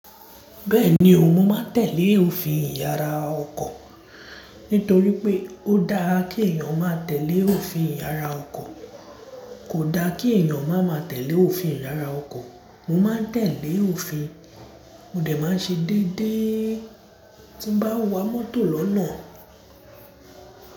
Bẹ́ẹ̀ni o, mo máa tẹ̀lé òfin ìyàrá ọkọ̀. Nítorí pé ó dáa kí èèyàn máa tẹ̀lé òfin ìyàrá ọkọ̀, kò da kí èèyàn má máa tẹ̀lé òfin ìyàrá ọkọ̀. Mo máa n tẹ̀lé òfin, mọ̀ dé máa ṣe déédéé ti n bá n wa mọ́tò lọ́nà.